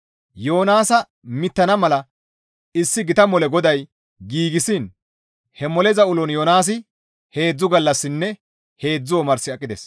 Yoonaasa mittana mala issi gita mole GODAY giigsiin he moleza ulon Yoonaasi heedzdzu gallassinne heedzdzu omars aqides.